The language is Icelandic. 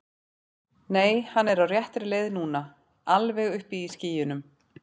Nei, hann er á réttri leið núna. alveg uppi í skýjunum.